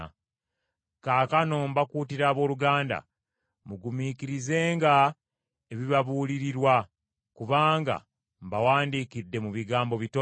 Kaakano mbakuutira abooluganda, mugumiikirizenga ebibabuulirirwa, kubanga mbawandiikidde mu bigambo bitono.